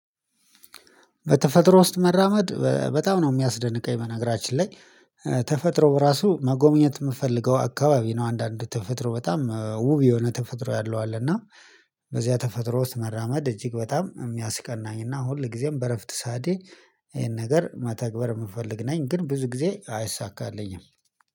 በተፈጥሮ ውስጥ መራመድ በጣም ነው የሚያስደንቀኝ በነገራችን ላይ ተፈጥሮ ራሱ መጎብኘት የምፈልገው አካባቢ ነው። አንዳንድ ተፈጥሮ በጣም ውብ የሆነ ተፈጥሮ ያለው አለ። እና በዚያ ተፈጥሮ ውስጥ መራመድ እጅግ በጣም የሚያስቀናኝና ሁል ጊዜም በእረፍት ሰዓቴ ይሄን ነገር መተግበር የምፈልግ ነኝ። ግን ብዙ ጊዜ አይሳካልኝም